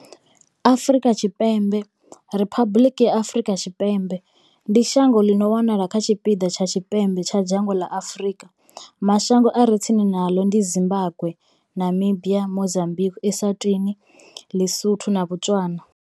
Afrika Tshipembe Riphabuḽiki ya Afrika Tshipembe, ndi shango ḽi no wanala kha tshipiḓa tsha tshipembe tsha dzhango ḽa Afurika. Mashango a re tsini naḽo ndi Zimbagwe, Namibia, Mozambikwi, Eswatini, ḼiSotho na Botswana.